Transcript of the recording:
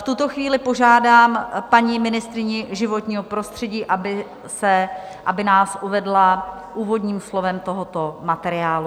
V tuto chvíli požádám paní ministryni životního prostředí, aby nás uvedla úvodním slovem tohoto materiálu.